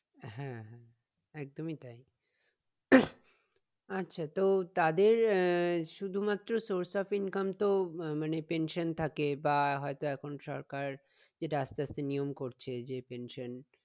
হ্যাঁ একদমই তাই আচ্ছা তো তাদের আহ শুধুমাএ source of income তো মানে pension থাকে বা হয়তো এখন সরকার যেটা আসতে আসতে নিয়ম করছে যে pension